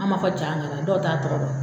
An m'a fɔ jagara dɔw t'a tɔgɔ dɔn